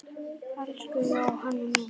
Elsku Jóna mín.